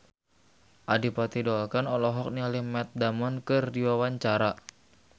Adipati Dolken olohok ningali Matt Damon keur diwawancara